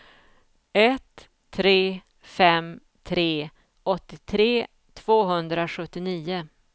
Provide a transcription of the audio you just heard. ett tre fem tre åttiotre tvåhundrasjuttionio